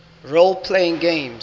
role playing games